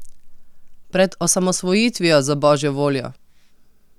Pred osamosvojitvijo, za božjo voljo!